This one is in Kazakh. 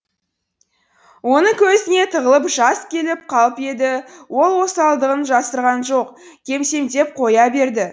оның көзіне тығылып жас келіп қалып еді ол осалдығын жасырған жоқ кемсеңдеп қоя берді